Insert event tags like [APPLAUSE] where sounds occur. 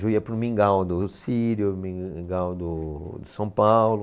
Eu ia para o Mingau do, [UNINTELLIGIBLE] o Mingau do, do São Paulo.